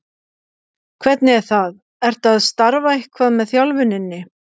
Hvernig er það, ertu að starfa eitthvað með þjálfuninni?